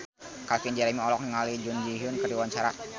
Calvin Jeremy olohok ningali Jun Ji Hyun keur diwawancara